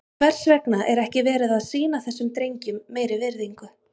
Hvers vegna er ekki verið að sýna þessum drengjum meiri virðingu?